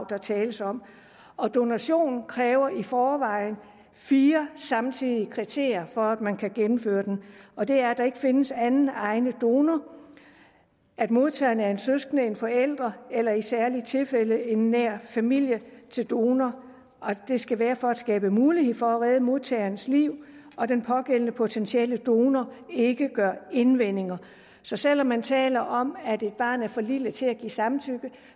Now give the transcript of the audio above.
der tales om donation kræver i forvejen fire samtidige kriterier for at man kan gennemføre den og det er at der ikke findes anden egnet donor at modtageren er en søskende en forælder eller i særlige tilfælde i nær familie til donor at det skal være for at skabe mulighed for at redde modtagerens liv og at den pågældende potentielle donor ikke gør indvendinger så selv om man taler om at et barn er for lille til at give samtykke